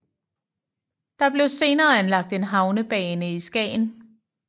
Der blev senere anlagt en havnebane i Skagen